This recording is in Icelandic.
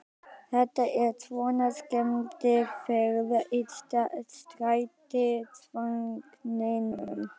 Þetta er svona skemmtiferð í strætisvagninum!